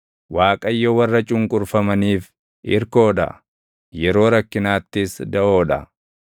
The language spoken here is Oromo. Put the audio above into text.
Waaqayyo warra cunqurfamaniif irkoo dha; yeroo rakkinaattis daʼoo dha.